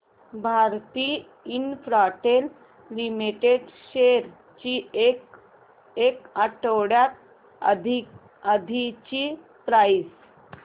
Bharti Infratel limited shares ची एक आठवड्या आधीची प्राइस